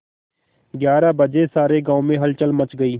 ग्यारह बजे सारे गाँव में हलचल मच गई